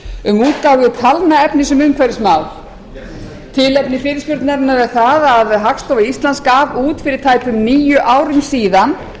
um útgáfu talnaefnis um umhverfismál tilefni fyrirspurnarinnar er það að hagstofa íslands gaf út fyrir tæpum níu árum síðan